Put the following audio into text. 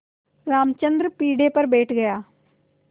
रामचंद्र पीढ़े पर बैठ गया